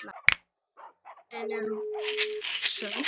En er hún sönn?